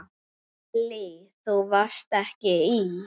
Lillý: Þú varst ekki í?